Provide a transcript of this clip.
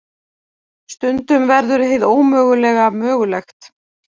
Stundum verður hið ómögulega mögulegt.